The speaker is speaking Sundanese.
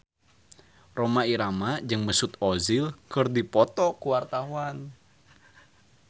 Rhoma Irama jeung Mesut Ozil keur dipoto ku wartawan